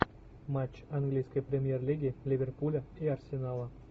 матч английской премьер лиги ливерпуля и арсенала